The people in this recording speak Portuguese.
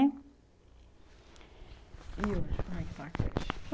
E hoje, como é que está a creche?